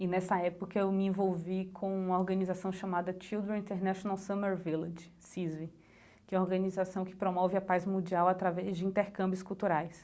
E nessa época eu me envolvi com uma organização chamada Children International Summer Village, CISVE, que é uma organização que promove a paz mundial através de intercâmbios culturais.